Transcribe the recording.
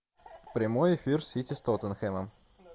прямой эфир сити с тоттенхэмом